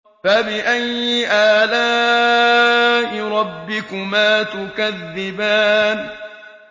فَبِأَيِّ آلَاءِ رَبِّكُمَا تُكَذِّبَانِ